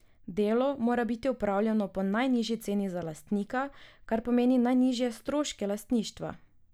Delo mora biti opravljeno po najnižji ceni za lastnika, kar pomeni najnižje stroške lastništva.